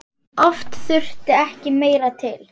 Oft þurfti ekki meira til.